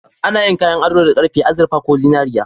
Ana yin kayan ado da karfe, azurfa ko zinariya.